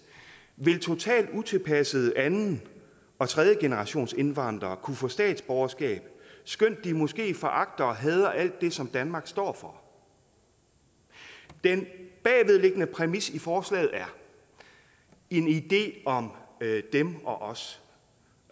vil totalt utilpassede anden og tredjegenerationsindvandrere kunne få statsborgerskab skønt de måske foragter og hader alt det som danmark står for den bagvedliggende præmis i forslaget er en idé om dem og os